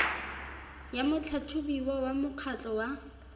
ya motlhatlhobiwa wa mokgatlho wa